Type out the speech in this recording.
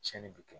Tiɲɛni bɛ kɛ